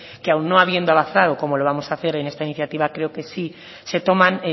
que aun no habiendo avanzado como lo vamos a hacer en esta iniciativa creo que sí se toman